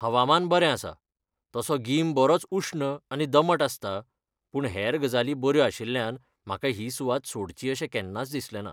हवामान बरें आसा, तसो गीम बरोच उश्ण आनी दमट आसता, पूण हेर गजाली बऱ्यो आशिल्ल्यान म्हाका ही सुवात सोडची अशें केन्नाच दिसलेंना.